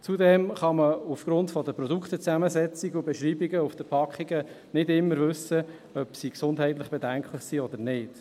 Zudem kann man aufgrund der Produktezusammensetzungen und beschreibungen nicht immer wissen, ob sie gesundheitlich bedenklich sind oder nicht.